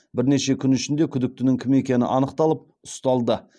бірнеше күн ішінде күдіктінің кім екені анықталып ұсталды